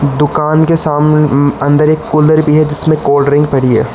दुकान के अंदर एक कूलर भी है जिसमें कोल्ड ड्रिंक पड़ी है।